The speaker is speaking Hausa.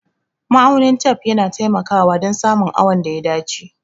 Ma'aunin tef yana taimakawa dan samun awon da ya dace